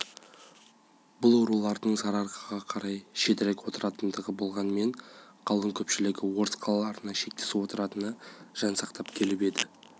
бұл рулардың сарыарқаға қарай шетірек отыратындары болғанымен қалың көпшілігі орыс қалаларына шектес отыратыны жан сақтап келіп еді